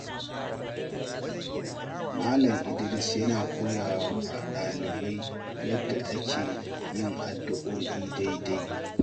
Malam Idris yana koya wa dalibai yadda ake yin addu’o’i daidai.